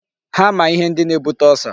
Ha ma ihe ndi na-ebute ulcer.